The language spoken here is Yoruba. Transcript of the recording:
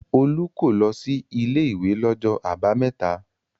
Olú kò lọ sí ilé-ìwé lọ́jọ́ àbámẹ́ta.